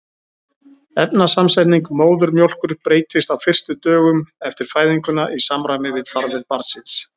efnasamsetning móðurmjólkur breytist á fyrstu dögum eftir fæðinguna í samræmi við þarfir barnsins